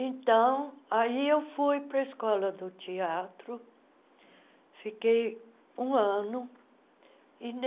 Então, aí eu fui para a Escola do Teatro, fiquei um ano.